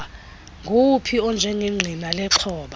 nguwuphi onjengengqina lexhoba